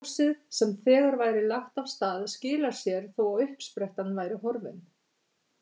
Ljósið sem þegar væri lagt af stað skilar sér þó að uppsprettan væri horfin.